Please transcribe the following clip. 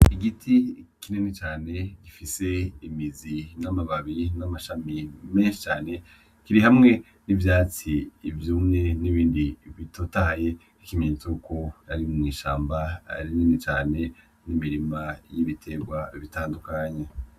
Igiti kinini cane gifise amababi n'amashami cane biri hamwe nivyatsi vyumye nibindi bitotahaye nkikimenyetso yuko ari mw'ishamba rinini cane nimirima yibitegwa bitandukanye.